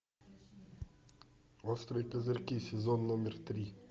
острые козырьки сезон номер три